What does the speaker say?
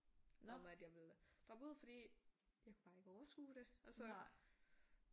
Om at jeg ville droppe ud fordi jeg kunne bare ikke overskue det og så